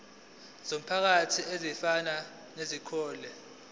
zomphakathi ezifana nezikole